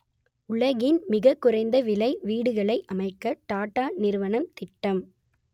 உலகின் மிகக் குறைந்த விலை வீடுகளை அமைக்க டாட்டா நிறுவனம் திட்டம்